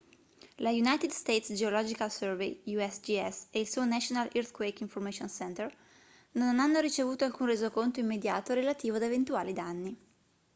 lo united states geological survey usgs e il suo national earthquake information center non hanno ricevuto alcun resoconto immediato relativo ad eventuali danni